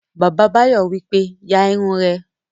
Bàbá Báyọ̀ wípé, "ya irun rẹ!"